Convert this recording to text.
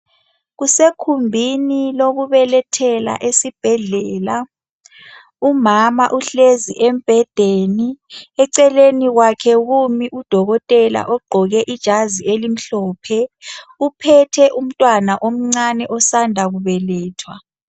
Kusekhumbini lokubelethela esibhedlela umama uhlezi embhedeni. Eceleni kwakhe kumi udokotela ogqoke ijazi elimhlophe. Uphethe umntwana omncane osanda kubelethwa.